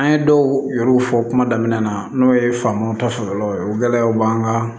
An ye dɔw yɛrɛ fɔ kuma daminɛ na n'o ye famu ta sɔrɔla o gɛlɛyaw b'an kan